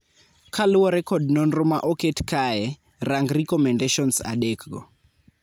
Kaluore kod nonro ma oket kae, rang recommendations adek go.